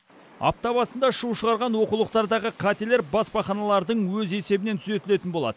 апта басында шу шығарған оқулықтардағы қателер баспаханалардың өз есебінен түзетілетін болады